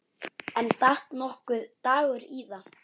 En datt nokkuð Dagur íða?